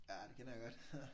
Ja det kender jeg godt